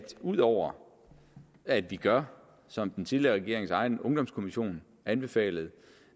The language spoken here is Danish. ud over at vi gør som den tidligere regerings egen ungdomskommission anbefalede